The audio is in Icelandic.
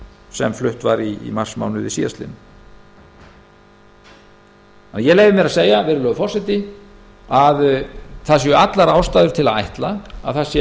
sem flutt var í marsmánuði ég leyfi mér að segja virðulegi forseti að það séu allar ástæður til að ætla að